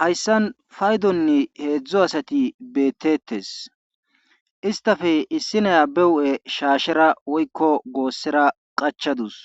Hayssan paydon heedzdzu asati beetetees istappe issi nay be huuphen shaashera woykko gosera qachadus